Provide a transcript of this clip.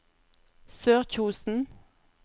Sørkjosen